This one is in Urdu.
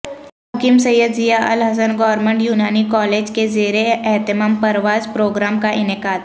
حکیم سید ضیا الحسن گورنمنٹ یونانی کالج کے زیر اہتمام پرواز پروگرام کا انعقاد